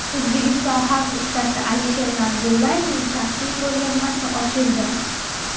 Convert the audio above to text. O‘zbekiston xalq ustasi Alisher Narzullayevning shaxsiy ko‘rgazmasi ochildi.